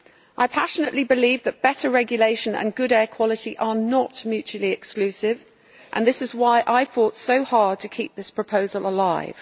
I passionately believe that better regulation and good air quality are not mutually exclusive, and this is why I fought so hard to keep this proposal alive.